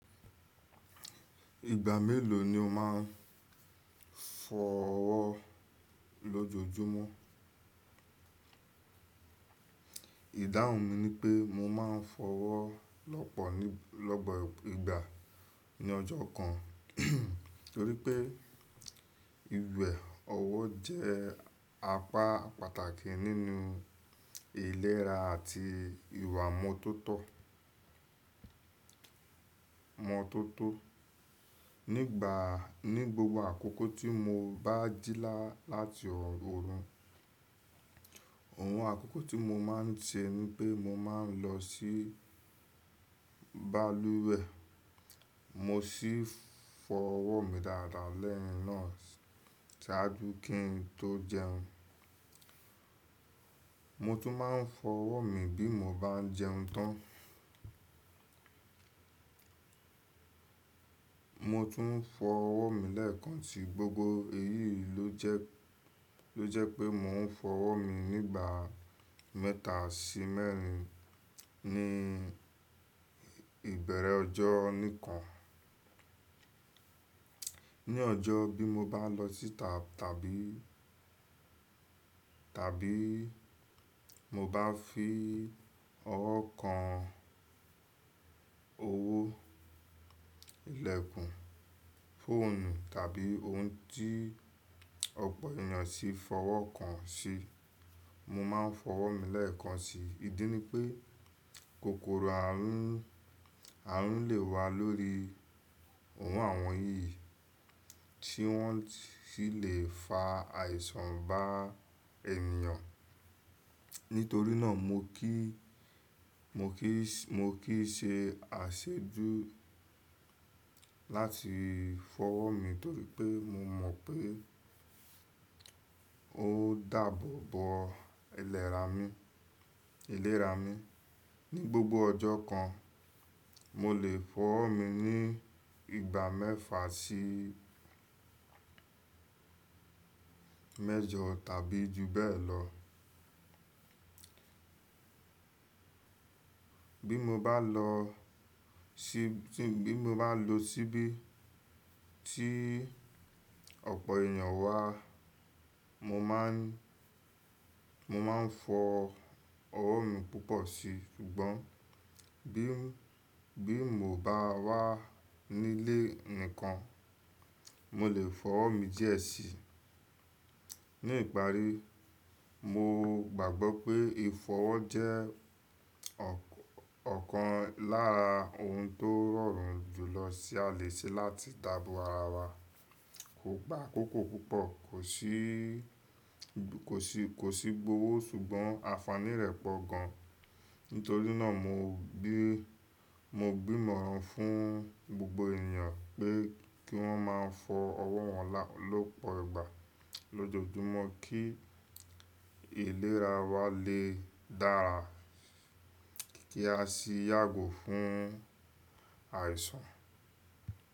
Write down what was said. Ìgbà mélòó ni o máa ń fọọ ọwọ́ lojo ju lójoójúmọ́? Ìdáhùn mi ni pé mo ma ń fọ ọwọ́ lọ́pọ̀ lọ́pọ ìgbà ní ọjọ́ kan, torí pé ìwẹ ọwọ́ jẹ́ apá pàtàkì nínú ìlera àti ìwà imọ tótó. Imọ tótó. Nígbà, ní gbogbo àkókò tí mo bá jíla láti orun, òun àkókò tí mo máa ń ṣe ni pé mo máa ń lọ sí balùwẹ̀, mo sì fọ ọwọ́ mi dáadáa lẹ́yìn náà ṣáájú kí n tó jẹun. Mo tún máa ń fọ ọwọ́ mi bí mo bá ń jẹun tán. Mo tún ń fọ ọwọ́ mi lẹ́ẹ̀kan si. Gbogbo èyí ló jẹ́, ló jẹ́ pé mò ń fọ ọwọ́ mi nígbà mẹ́ta sí mẹ́rin ní ìbẹ̀rẹ̀ ọjọ́ nìkan. Ní ọjọ́ mii, ti mo bá lọ síta tàbí, tàbí mo bá fi ọwọ́ kan owó, ìlẹ̀kùn, fóònù tàbí ohun tí ọ̀pọ̀ ènìyàn sì fọwọ́ kan sí, mo máa ń fọ ọwọ́ mi lẹ́ẹ̀kan si. Idí ni pé kòkòrò àrún, àrún lè wà lórí ọwọ àwọn yìí tí wọ́n sì lè fa àìsàn bá ènìyàn. Nítorí náà mo kì í, mo kì í, mo kì í se àsejù láti fọ ọwọ́ mi torí pé mo mọ̀ pé ó dáàbò bo ìlera mi, ìlera mi. Ní ọjọ́ kan, mo lè fọ ọwọ́ mi ní ìgbà mẹ́fà sí mẹ́jọ tàbí ju bẹ́ẹ̀ lọ. Bí mo bá lọ sí, bí mo bá lọ síbí tí ọ̀pọ̀ ènìyàn wà, mo máa ń, mo máa ń fọ ọwọ́ mi púpọ̀ si. Ṣùgbọ́n bí, bí mo bá wà nílé nìkan, mo lè fọ ọwọ́ mi díẹ̀ síi. Ní ìparí, mo gbàgbọ́ pé fìfọ ọwọ́ jẹ́ ọ̀kan lára ohun tó rọrùn jù lọ sí à lè ṣe láti dàbo ara wa. Kò gba àkókò púpọ̀, kò sí, kò sí, kò sí gbọ́wọ́ ṣùgbọ́n àfààní rẹ̀ pọ̀ gan. Nítorí náà mo bí, mo bi ímọ̀ràn fún gbogbo ènìyàn pé kí wọ́n máa fọ ọwọ́ wọn lọ́pọ̀ ìgbà lójoójúmọ́ kí ìlera wa lè dára, kí a sì yàgò fún àìsàn.